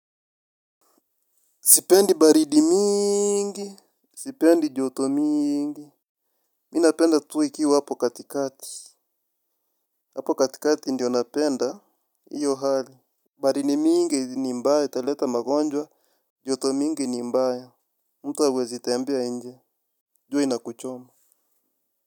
Sipendi baridi mingi. Sipendi joto mingi. Mi napenda tu ikiwa hapo katikati. Hapo katikati ndiyo napenda. Iyo hali. Baridi mingi ni mbaua italeta magonjwa joto mingi ni mbaya. Mtu hawezi tembea nje. Jua inakuchoma.